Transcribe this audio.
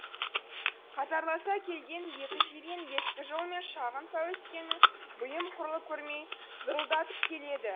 қатарласа желген екі жирен ескі жолмен шағын пәуескені бұйым құрлы көрмей зырылдатып келеді